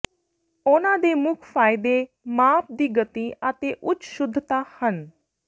ਉਹਨਾਂ ਦੇ ਮੁੱਖ ਫਾਇਦੇ ਮਾਪ ਦੀ ਗਤੀ ਅਤੇ ਉੱਚ ਸ਼ੁੱਧਤਾ ਹਨ